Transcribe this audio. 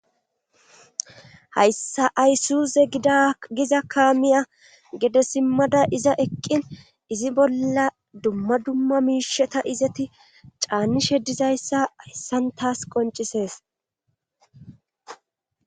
Hayssa aysuuze gdagiza kaamiya gede simmada iza eqqin izi bolla dumma dumma miisheta izati caanishe dizayssa hayssan taas qoncisees.